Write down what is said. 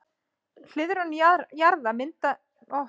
Hliðrun jaðra myndanna segir til um færslu músarinnar.